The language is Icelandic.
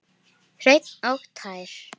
Hreinn og tær.